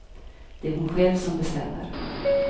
Det är hon själv som bestämmer.